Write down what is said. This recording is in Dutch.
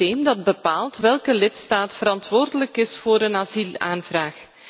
Dat is het systeem dat bepaalt welke lidstaat verantwoordelijk is voor een asielaanvraag.